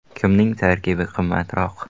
Kimning tarkibi qimmatroq?.